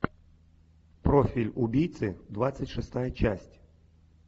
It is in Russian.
профиль убийцы двадцать шестая часть